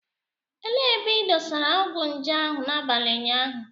Elee ebe ị dosara ọgwụ nje ahụ n'abalị ụnyaahụ